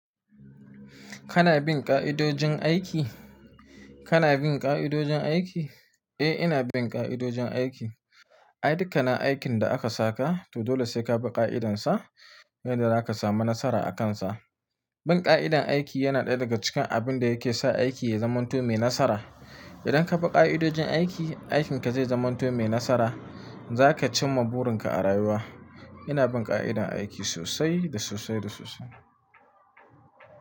Kana bin ƙa'idojin aiki? Kana bin ƙa'idojin aiki? Eh, ina bin ƙa'idojin aiki. Ai, dukkan aikin da aka saka to dole sai ka bi ƙa'idansa yadda zaka samu nasara akansa. Bin ƙa'idan aiki yana ɗaya daga cikin abin da yake sa aiki ya zamanto mai nasara. Idan ka bi ƙa'idojin aiki, aikinka zai zamanto mai nasara, zaka cimma burinka a rayuwa. Ina bin ƙa'idan aiki sosai da sosai da sosai.